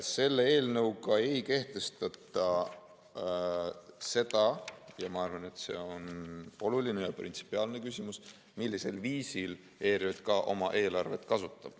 " Selle eelnõuga ei kehtestata seda – ja ma arvan, et see on oluline ja printsipiaalne küsimus –, millisel viisil ERJK oma eelarvet kasutab.